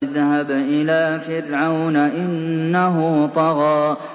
اذْهَبْ إِلَىٰ فِرْعَوْنَ إِنَّهُ طَغَىٰ